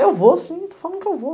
Eu vou sim, estou falando que eu vou.